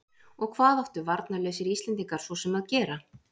Og hvað áttu varnarlausir Íslendingar svo sem að gera?